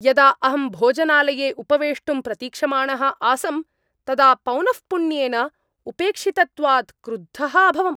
यदा अहं भोजनालये उपवेष्टुं प्रतीक्षमाणः आसम् तदा पौनःपुन्येन उपेक्षितत्वात् क्रुद्धः अभवम्।